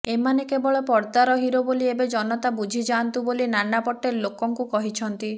ଏମାନେ କେବଳ ପର୍ଦ୍ଦାର ହିରୋ ବୋଲି ଏବେ ଜନତା ବୁଝି ଯାଆନ୍ତୁ ବୋଲି ନାନାପୋଟଲେ ଲୋକଙ୍କୁ କହିଛନ୍ତି